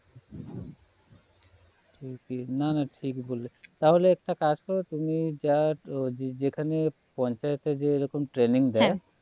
না না ঠিক বলেছো তাহলে একটা কাজ করো তুমি just যেখানে পঞ্চায়েতে যে রকম training দেয় হ্যাঁ